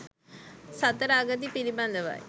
සතර අගති පිළිබඳවයි